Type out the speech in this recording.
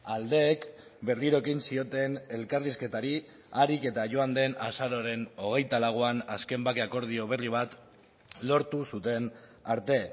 aldeek berriro ekin zioten elkarrizketari aharik eta joan den azaroaren hogeita lauan azken bake akordio berri bat lortu zuten arte